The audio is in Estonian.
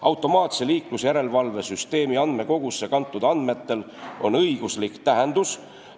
Automaatse liiklusjärelevalve süsteemi andmekogusse kantud andmetel on õiguslik tähendus.